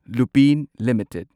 Lupin limited